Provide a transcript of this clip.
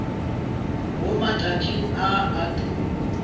mo matšatšing a a tulo